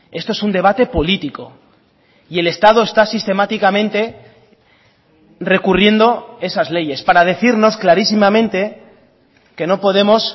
esto es un debate político y el estado está sistemáticamente recurriendo esas leyes para decirnos clarísimamente que no podemos